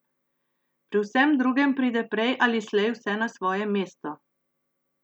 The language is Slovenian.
Pri vsem drugem pride prej ali slej vse na svoje mesto.